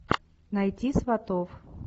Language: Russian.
найти сватов